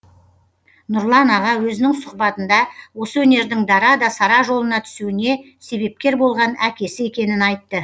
нұрлан аға өзінің сұхбатында осы өнердің дара да сара жолына түсуіне себепкер болған әкесі екенін айтты